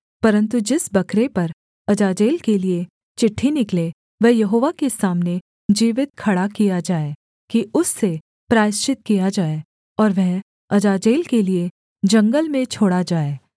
परन्तु जिस बकरे पर अजाजेल के लिये चिट्ठी निकले वह यहोवा के सामने जीवित खड़ा किया जाए कि उससे प्रायश्चित किया जाए और वह अजाजेल के लिये जंगल में छोड़ा जाए